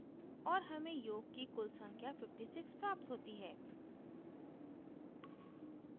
और हमें योग की कुल value 56 प्राप्त होती है